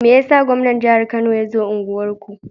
Meyasa gwaman jahar kano yazo unguwar ku?